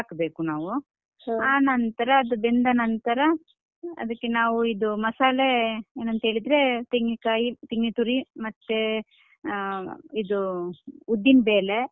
ನಾವು ಆನಂತ್ರ ಅದು ಬೆಂದ ನಂತ್ರ ಅದಕ್ಕೆ ನಾವು ಇದು ಮಸಾಲೆ, ಏನ್ ಅಂತ ಹೇಳಿದ್ರೆ ತೆಂಗಿನಕಾಯಿ ತೆಂಗಿನತುರಿ ಮತ್ತೆ ಅಹ್ ಇದು ಉದ್ದಿನಬೇಲೆ.